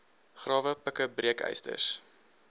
grawe pikke breekysters